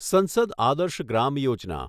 સંસદ આદર્શ ગ્રામ યોજના